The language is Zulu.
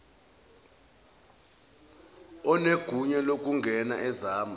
onegunya lokungena ezama